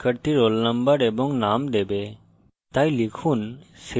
এখন এই method শিক্ষার্থীর roll number এবং name দেবে